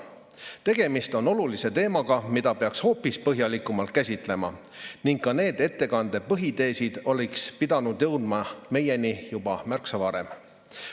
Tegemist on olulise teemaga, mida peaks hoopis põhjalikumalt käsitlema ning ka need ettekande põhiteesid oleks pidanud jõudma meieni märksa varem.